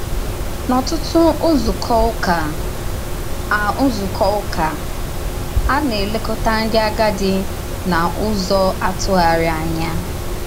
N’ọ̀tụ̀tụ̀ nzúkọ ụ́kà, a nzúkọ ụ́kà, a na-èlèkọta ndí àgádì n’ụ́zọ atụ̀gharí ànyà.